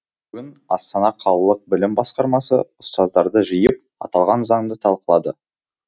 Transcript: бүгін астана қалалық білім басқармасы ұстаздарды жиып аталған заңды талқылады